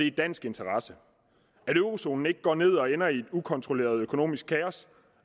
i dansk interesse at eurozonen ikke går ned og ender i et ukontrolleret økonomisk kaos